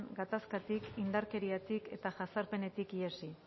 gatazkatik indarkeriatik eta jazarpenetik ihesi